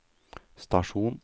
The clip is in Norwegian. stasjon